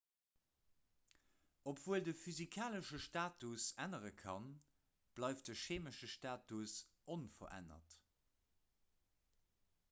obwuel de physikalesche status ännere kann bleift de cheemesche status onverännert